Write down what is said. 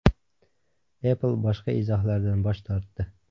Apple boshqa izohlardan bosh tortdi.